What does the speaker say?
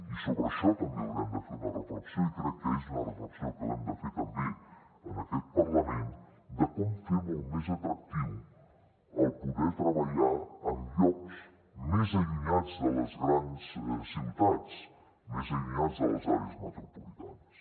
i sobre això també haurem de fer una reflexió i crec que és una reflexió que l’hem de fer també en aquest parlament sobre com fer molt més atractiu el poder treballar en llocs més allunyats de les grans ciutats més allunyats de les àrees metropolitanes